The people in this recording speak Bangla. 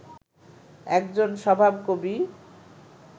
একজন স্বভাবকবি